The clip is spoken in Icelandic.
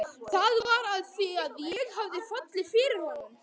Var það af því að ég hafði fallið fyrir honum?